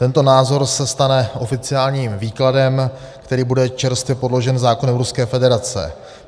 Tento názor se stane oficiálním výkladem, který bude čerstvě podložen zákonem Ruské federace.